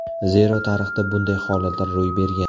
Zero tarixda bunday holatlar ro‘y bergan.